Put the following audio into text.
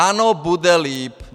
Ano, bude líp.